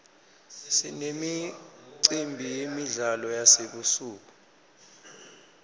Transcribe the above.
sinemicimbi yemidlalo yasebusuku